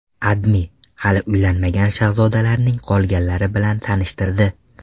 AdMe hali uylanmagan shahzodalarning qolganlari bilan tanishtirdi .